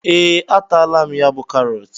Ee, a taala m ya bú karọt